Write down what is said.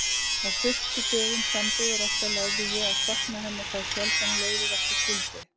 Á fyrstu dögum sambúðar okkar lærði ég að sakna hennar þá sjaldan leiðir okkar skildi.